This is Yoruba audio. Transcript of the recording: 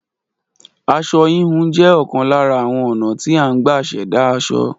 Aṣọ híhun jẹ́ ọ̀kan lára àwọn ọ̀nà tí a ń gbà ṣẹ̀dá aṣọ